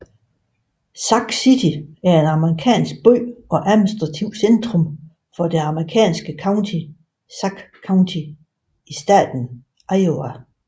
Sac City er en amerikansk by og administrativt centrum for det amerikanske county Sac County i staten Iowa